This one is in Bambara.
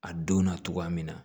A don na cogoya min na